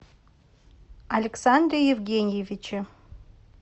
александре евгеньевиче